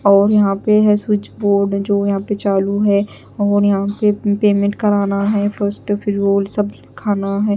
और यहां पे है स्विच बोर्ड जो यहां पे चालू है और यहां पे भी पेमेंट कराना है फिर वो सब खाना है।